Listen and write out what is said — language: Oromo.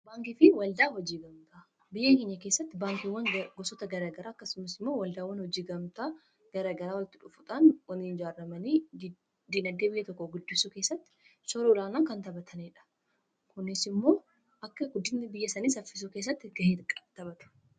Biyya keenya keessatti baankiiwwan gosoota garagaraa akkasumas immoo waldaawwan hojii gamtaa garagaraa walitti dhufuudhaan waliin ijaaramanii diinagdee biyya tokkoo guddisuu keessatti shoora olaanaa kan taphataniidha. Kunis immoo akka guddinni biyyasanii saffisuu keessatti ga'ee taphata.